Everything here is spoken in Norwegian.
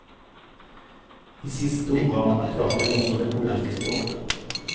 I siste omgang trakk hun også det korteste strå.